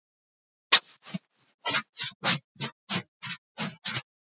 Ég vona að sokkarnir eigi eftir að koma sér vel.